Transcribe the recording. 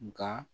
Nka